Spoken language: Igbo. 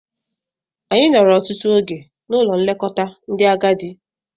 Anyị nọrọ ọtụtụ oge n'Ụlọ nlekọta ndị agadi.